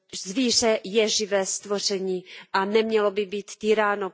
Zvíře je živé stvoření a nemělo by být týráno.